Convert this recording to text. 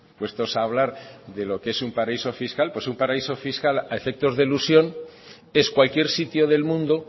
puestos a hablar de lo que es un paraíso fiscal pues un paraíso fiscal a efecto de elusión es cualquier sitio del mundo